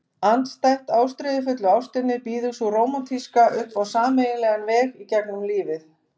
Andstætt ástríðufullu ástinni býður sú rómantíska upp á sameiginlegan veg í gegnum lífið.